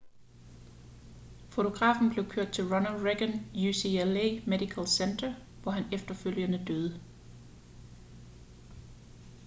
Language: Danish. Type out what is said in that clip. fotografen blev kørt til ronald reagan ucla medical center hvor han efterfølgende døde